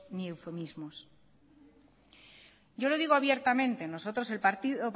ni eufemismos yo le digo abiertamente nosotros